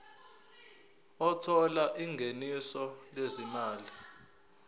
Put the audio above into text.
othola ingeniso lezimali